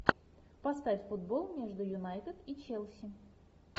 поставь футбол между юнайтед и челси